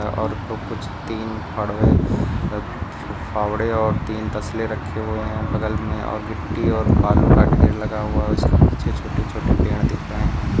और वो कुछ तीन फड़वे अ फावड़े और तीन तस्ले रखे हुए हैं बगल में और गीट्टी और बालु का ढेर लगा हुआ है उसके पीछे छोटे छोटे पेड़ दिख रहे हैं।